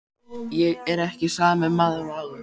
Ég er ekki sami maður og áður.